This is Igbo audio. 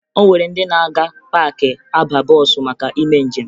O nwere ndị na-aga paakị aba bọọsụ maka ime njem